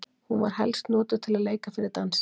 Hún var helst notuð til að leika fyrir dansi.